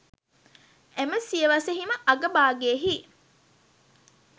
එම සියවසෙහිම අග භාගයෙහි